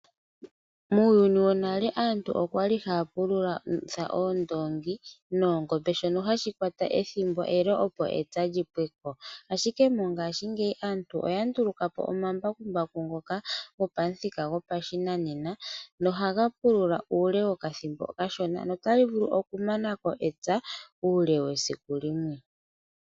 Muyuni wo nale aantu okwali haya pululitha Oondongi noOngombe shoka hashi kwata ethimbo ele opo epya lyipweko, ashike mongashingeyi aantu oya ndulukapo omambakumbaku ngoka go pathika go pashinanena no haga pulula uule wokathimbo okasho no tali vulu okumako epya uule wesiku limwe.